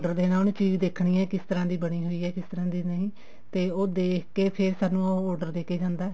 order ਦੇਣਾ ਉਹਨੇ ਚੀਜ਼ ਦੇਖਣੀ ਹੈ ਕਿਸ ਤਰ੍ਹਾਂ ਦੀ ਬਣੀ ਹੋਈ ਹੈ ਕਿਸ ਤਰ੍ਹਾਂ ਦੀ ਨਹੀਂ ਤੇ ਉਹ ਦੇਖ ਏਕ ਫ਼ੇਰ ਸਾਨੂੰ order ਦੇ ਕੇ ਜਾਂਦਾ